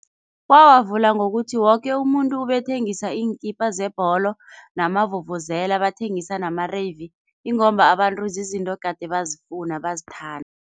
Bawavula ngokuthi woke umuntu ubethengisa iinkipa zebholo, namavuvuzela, bathengisa namarevi ingomba abantu zizinto gade bazofuna bazithanda.